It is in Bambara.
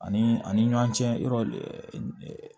Ani a ni ɲɔn cɛ yɔrɔ